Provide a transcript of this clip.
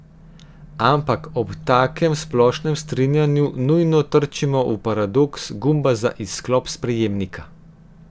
Ampak ob takem splošnem strinjanju nujno trčimo v paradoks gumba za izklop sprejemnika ...